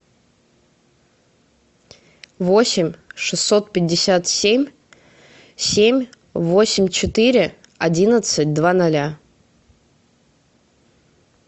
восемь шестьсот пятьдесят семь семь восемь четыре одиннадцать два ноля